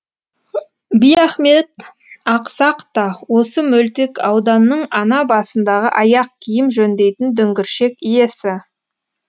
биахмет ақсақ та осы мөлтек ауданның ана басындағы аяқ киім жөндейтін дүңгіршек иесі